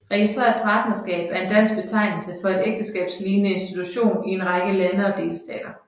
Registreret partnerskab er en dansk betegnelse for en ægteskabslignende institution i en række lande og delstater